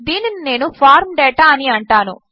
దీనినినేను form data అనిఅంటాను